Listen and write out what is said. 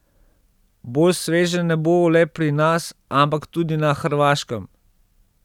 Bolj sveže ne bo le pri nas, ampak tudi na Hrvaškem.